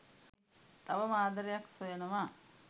තවම ආදරයක්‌ සොයනවා